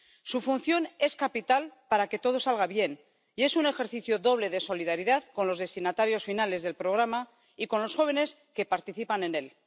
Su función es capital para que todo salga bien y es un ejercicio doble de solidaridad con los destinatarios finales del programa y con los jóvenes que participan en él.